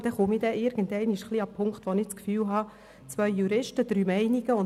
Irgendwann kann ich mich des Eindrucks nicht mehr erwehren, es gebe bei zwei Juristen drei Meinungen.